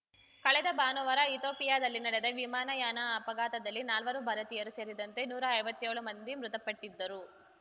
ಕಳೆದ ಭಾನುವಾರ ಇತೋಪಿಯಾದಲ್ಲಿ ನಡೆದ ವಿಮಾನಯಾನ ಅಪಘಾತದಲ್ಲಿ ನಾಲ್ವರು ಭಾರತೀಯರೂ ಸೇರಿದಂತೆ ನೂರಾ ಐವತ್ತೇಳು ಮಂದಿ ಮೃತಪಟ್ಟಿದ್ದರು